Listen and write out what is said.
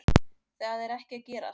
Það er ekki að gerast